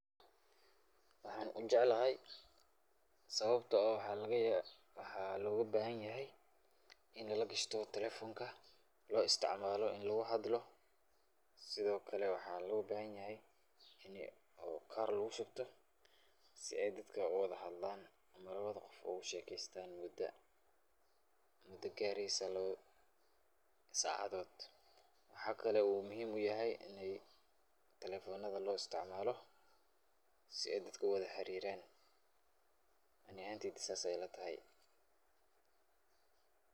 Waxaan jeclahay sababto ah waxaa loga bahanyahy in lagishto talefonka lo isticmalao in lagu hadlo sidokale waxaa loga bahanyahay ini oo kar lagushubta si ay dadka u wada hadlan lawada rux u wada shekeystan muda gaareysa lawa sacadood. Waxaa kale oo muhiim u yahay in talefonada lo isticmaalo si ay dadka u wada xariraan ani ahanteyda sas ay ilatahy.